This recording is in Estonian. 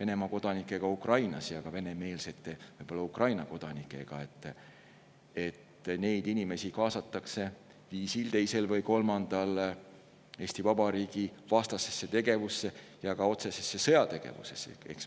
Venemaa kodanikega Ukrainas ja ka võib-olla venemeelsete Ukraina kodanikega: need inimesed kaasatakse ühel, teisel või kolmandal viisil Eesti Vabariigi vastasesse tegevusse ja ka otsesesse sõjategevusse.